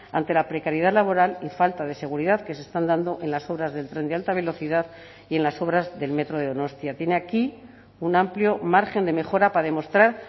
ante la precariedad laboral y falta de seguridad que se están dando en las obras del tren de alta velocidad y en las obras del metro de donostia tiene aquí un amplio margen de mejora para demostrar